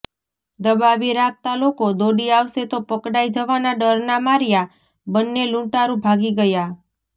દબાવી રાખતા લોકો દોડી આવશે તો પકડાય જવાના ડરના માર્યા બંન્ને લુંટારૃ ભાગી ગયા